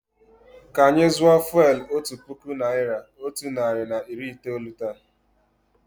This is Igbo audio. Kà anyị zụọ fụ́élú otu puku naị́ra, otu narị na iri itoolu taa.